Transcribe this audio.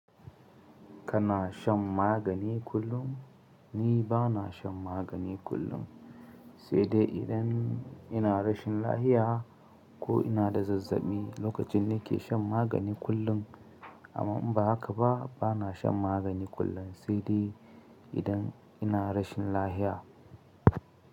Kana shan magani kullum? Ni bana shan magani kullum, sai dai idan ina rashin lafiya ko ina da zazzaɓi, lokacin ni ke shan magani kullum. Amma in ba haka ba, bana shan magani kullum sai dai idan ina rashin lahiya.